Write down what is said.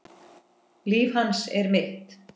Líf hans er þitt.